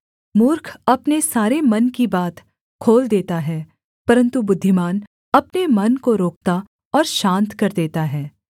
मूर्ख अपने सारे मन की बात खोल देता है परन्तु बुद्धिमान अपने मन को रोकता और शान्त कर देता है